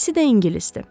İkisi də ingilisdir.